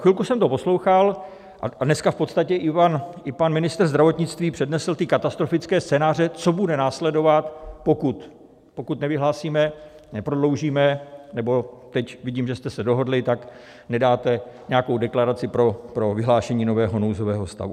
Chvilku jsem to poslouchal, a dneska v podstatě i pan ministr zdravotnictví přednesl ty katastrofické scénáře, co bude následovat, pokud nevyhlásíme, neprodloužíme, nebo teď vidím, že jste se dohodli, tak vydáte nějakou deklaraci pro vyhlášení nového nouzového stavu.